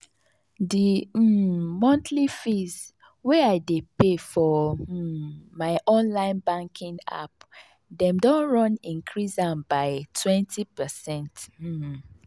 the um monthly fees wey i dey pay for um my online banking app dem don run increase am by 20%. um